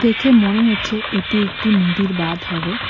দেখে মনে হচ্ছে এটি একটি নদীর বাঁধ হবে।